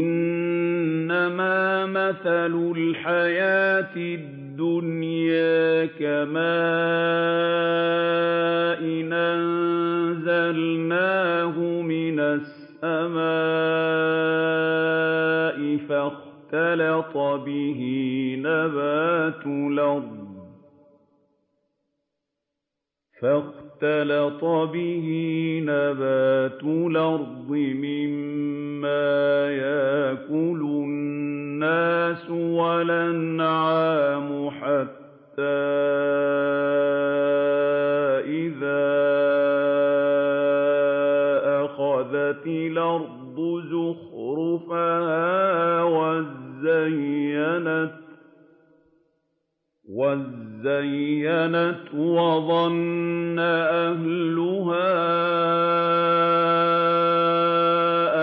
إِنَّمَا مَثَلُ الْحَيَاةِ الدُّنْيَا كَمَاءٍ أَنزَلْنَاهُ مِنَ السَّمَاءِ فَاخْتَلَطَ بِهِ نَبَاتُ الْأَرْضِ مِمَّا يَأْكُلُ النَّاسُ وَالْأَنْعَامُ حَتَّىٰ إِذَا أَخَذَتِ الْأَرْضُ زُخْرُفَهَا وَازَّيَّنَتْ وَظَنَّ أَهْلُهَا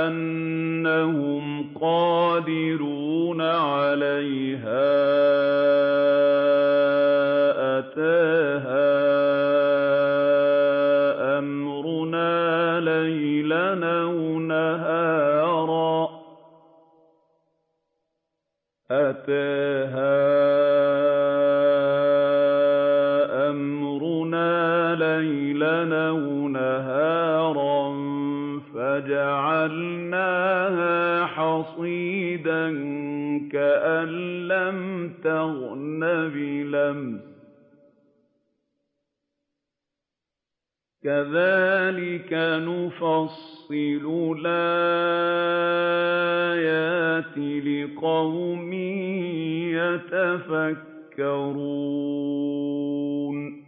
أَنَّهُمْ قَادِرُونَ عَلَيْهَا أَتَاهَا أَمْرُنَا لَيْلًا أَوْ نَهَارًا فَجَعَلْنَاهَا حَصِيدًا كَأَن لَّمْ تَغْنَ بِالْأَمْسِ ۚ كَذَٰلِكَ نُفَصِّلُ الْآيَاتِ لِقَوْمٍ يَتَفَكَّرُونَ